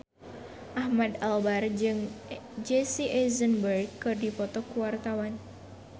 Ahmad Albar jeung Jesse Eisenberg keur dipoto ku wartawan